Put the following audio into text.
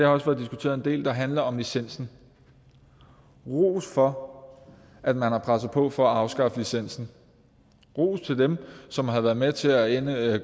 også været diskuteret en del der handler om licensen ros for at man har presset på for at afskaffe licensen ros til dem som har været med til at